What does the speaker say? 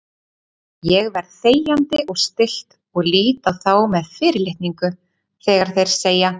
Ég verð þegjandi og stillt og lít á þá með fyrirlitningu þegar þeir segja